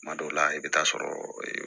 Kuma dɔw la i bɛ taa sɔrɔ